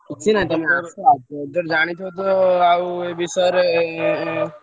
Project ଜାଣିଥିବ ତ ଆଉ ଏ ବିଷୟ ରେ?